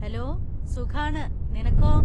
Hello, സുഖാണ്, നിനക്കോ?